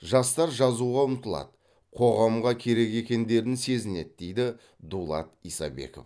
жастар жазуға ұмтылады қоғамға керек екендерін сезінеді дейді дулат исабеков